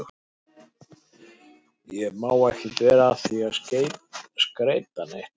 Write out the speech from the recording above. Ég má ekkert vera að því að skreyta neitt.